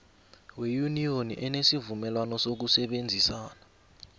weyuniyoni enesivumelwana sokusebenzisana